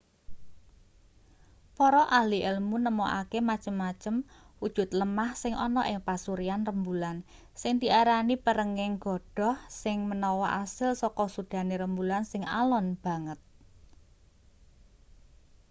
para ahli elmu nemokake macem-macem wujud lemah sing ana ing pasuryan rembulan sing diarani perenging godhoh sing menawa asil saka sudane rembulan sing alon banget